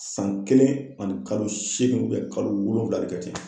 San kelen ani kalo seegin kalo wolonwula de kɛ ten.